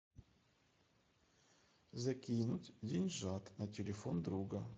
закинуть деньжат на телефон друга